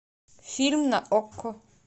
фильм на окко